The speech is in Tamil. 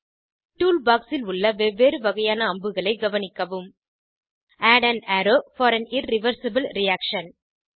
டூல் பாக்ஸ் ல் உள்ள வெவ்வேறு வகையான அம்புகளைக் கவனிக்கவும் add an arrow for an irreversible reaction